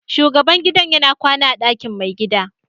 Shugaban gidan yana kwana a ɗakin mai gida.